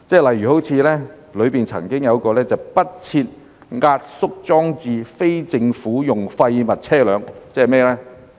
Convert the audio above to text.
例如當中曾經出現"不設壓縮裝置非政府用廢物車輛"，即是甚麼呢？